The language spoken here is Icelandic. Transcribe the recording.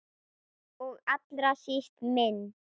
Og allra síst minn.